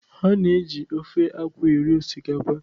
A na-eji ofe akwu eri osikapa